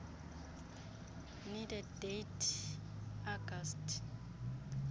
needed date august